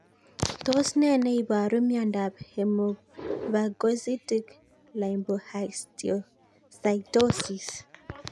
Tos nee neiparu miondop Hemophagocytic lymphohistiocytosis?